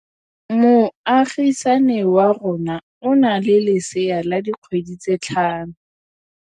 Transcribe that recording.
Moagisane wa rona o na le lesea la dikgwedi tse tlhano.